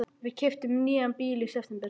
Við keyptum nýjan bíl í september.